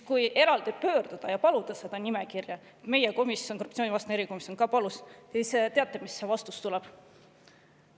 Kui eraldi pöörduda ja paluda seda nimekirja – meie komisjon, korruptsioonivastane erikomisjon, palus –, siis kas teate, mis vastus tuleb?